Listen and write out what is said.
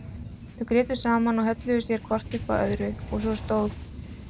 Þau grétu saman og hölluðu sér hvort upp að öðru og svo stóð